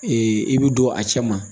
i bi don a cɛ ma